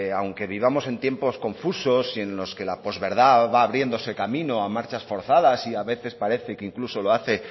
aunque vivamos en tiempos confusos y en los que la pos verdad va abriéndose camino a marchas forzadas y a veces parece que incluso lo hace